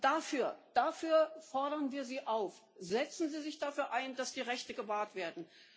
Dafür fordern wir Sie auf Setzen Sie sich dafür ein, dass die Rechte gewahrt werden!